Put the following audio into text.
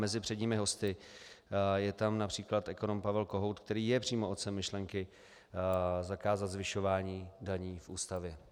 Mezi předními hosty je tam například ekonom Pavel Kohout, který je přímo otcem myšlenky zakázat zvyšování daní v Ústavě.